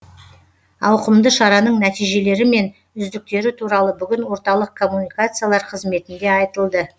ауқымды шараның нәтижелері мен үздіктері туралы бүгін орталық коммуникациялар қызметінде айтылды